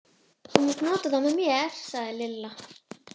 Þú mátt nota þá með mér sagði Lilla.